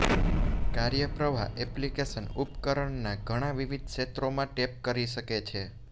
કાર્યપ્રવાહ application ઉપકરણના ઘણાં વિવિધ ક્ષેત્રોમાં ટેપ કરી શકે છે